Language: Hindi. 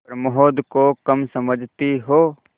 प्रमोद को कम समझती हो